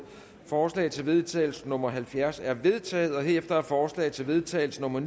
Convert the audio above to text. forslag til vedtagelse nummer halvfjerds er vedtaget herefter er forslag til vedtagelse nummer ni